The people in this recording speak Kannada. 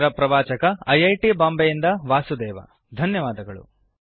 ಇದರ ಪ್ರವಾಚಕ ಐ ಐ ಟಿ ಬಾಂಬೆ ಯಿಂದ ವಾಸುದೇವ ಧನ್ಯವಾದಗಳು